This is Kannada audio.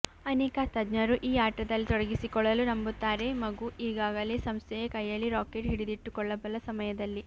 ಅನೇಕ ತಜ್ಞರು ಈ ಆಟದಲ್ಲಿ ತೊಡಗಿಸಿಕೊಳ್ಳಲು ನಂಬುತ್ತಾರೆ ಮಗು ಈಗಾಗಲೇ ಸಂಸ್ಥೆಯ ಕೈಯಲ್ಲಿ ರಾಕೆಟ್ ಹಿಡಿದಿಟ್ಟುಕೊಳ್ಳಬಲ್ಲ ಸಮಯದಲ್ಲಿ